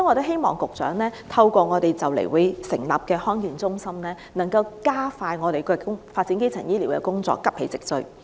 希望局長能透過即將成立的地區康健中心，加快發展基層醫療工作，急起直追。